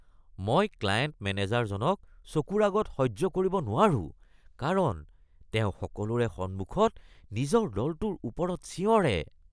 মই ক্লায়েন্ট মেনেজাৰজনক চকুৰ আগত সহ্য কৰিব নোৱাৰো কাৰণ তেওঁ সকলোৰে সন্মুখত নিজৰ দলটোৰ ওপৰত চিঞৰে